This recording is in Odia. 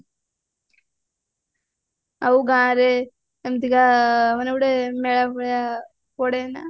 ଆଉ ଗାଁରେ ଏମିତିକା ଗୋଟେ ମେଳା ଭଳିଆ ପଡେ ନା